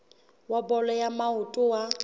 wa bolo ya maoto wa